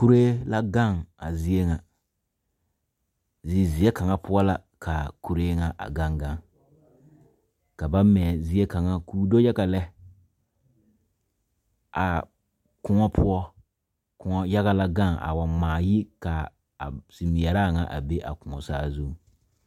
Kuree la gaŋ a zie ŋa zizeɛ kaŋa poɔ la k,a kuree ŋa a gaŋ gaŋ ka ba mɛ zie kaŋa k,o do yaga lɛ a koɔ poɔ koɔ yaga la gaŋ a waa yi ka a zimeɛraa ŋa a be a koɔ saazuŋ.